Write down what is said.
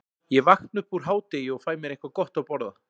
Ég vakna upp úr hádegi og fæ mér eitthvað gott að borða.